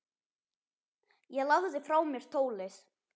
Ég lagði frá mér tólið.